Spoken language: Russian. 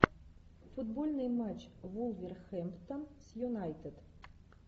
футбольный матч вулверхэмптон с юнайтед